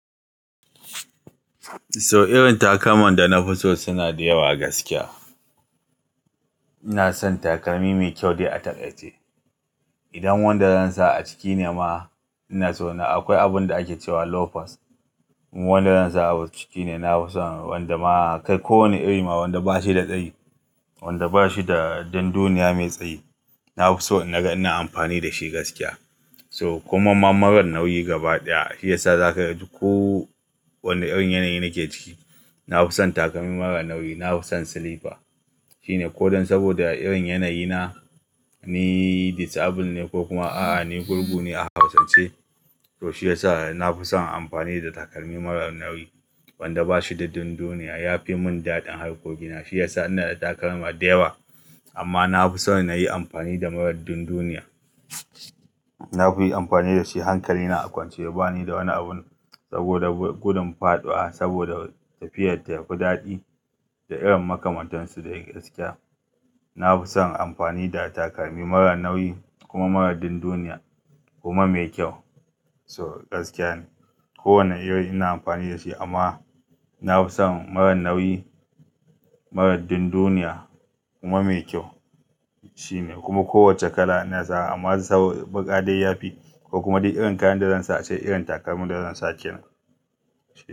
So irin takalman da na fi so suna da yawa gaskiya. Ina son takalmi mai kyau dai a taƙaice. Idan wanda zan sa a ciki ne ma, ina so na Akwai abun da ake cewa loafers, wanda zan sa a ciki ne, na fi son wanda ma, kai kowane iri ma wanda ba shi da tsayi, wanda ba shi da dunduniya mai tsayi. Na fi so in naga ina amfani da shi gaskiya. To kuma ma marar nauyi gaba ɗaya, shi yasa za ka ga, ko wanne irin yanayi na ke ciki, na fi son takalmi marar nauyi, na fi son silifa, Shi ne ko don saboda irin yanayi na, ni disabled ne, ko kuma a'a ni gurgu ne a Hausance, to shi yasa na fi son amfani da takalmi marar nauyi, wanda ba shi da dunduniya, ya fi mun daɗin harkokina. Shi yasa ina da takalma da yawa amma na fi son na yi amfani da marar dunduniya. Na fi amfani da shi hankali na a kwance, bani da wani abin, saboda gudun faɗuwa, saboda tafiyar ta fi daɗi, da irin makamantansu dai gaskiya. Na fi son amfani da takalmi marar nauyi kuma marar dunduniya kuma mai kyau. So gaskiya ne. Ko wane iri ina amfani da shi, amma na fi son marar nauyi, marar dunduniya, kuma mai kyau. Shi ne, kuma kowacce kala ina sa wa, amma sabo, baƙa dai yafi, ko kuma dai irin kayan da zan sa a ce irin takalmin da zan sa kenan, shi ne.